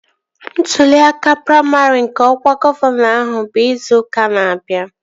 Ntụli aka praimarị nke ọkwa gọvanọ ahụ bụ izu ụka na-abịa